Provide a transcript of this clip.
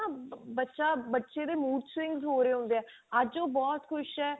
ਆਂ ਬੱਚਾ ਬਚੇ ਨੂੰ mood swings ਹੋ ਰਹੇ ਹੁੰਦੇ ਅੱਜ ਉਹ ਬਹੁਤ ਖੁਸ਼ ਹੈ